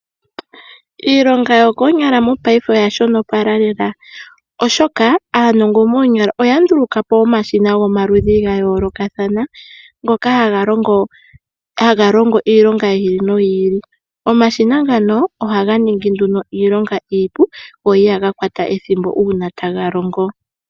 Iilonga yokoonyala mopaife oyashonopala lela oshoka, aanongo moonyala oyanduluka po omashina gayoolokathana ngoka haga longo iilonga yi ili noyi ili. Omashina ngaka ohaga ningi nduno iilonga iipu go ihaga kwata ethimbo una taga longo.